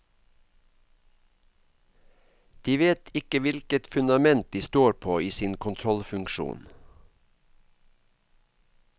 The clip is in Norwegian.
De vet ikke hvilket fundament de står på i sin kontrollfunksjon.